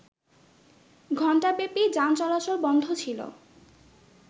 ঘণ্টাব্যাপী যান চলাচল বন্ধ ছিল